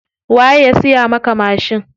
Waye ya siya maka mashin?